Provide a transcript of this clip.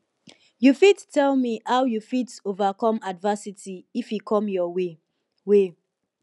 you fit tell me how you fit overcome adversity if e come your way way